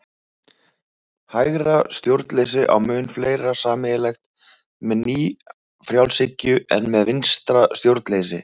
Hægra stjórnleysi á mun fleira sameiginlegt með nýfrjálshyggju en með vinstra stjórnleysi.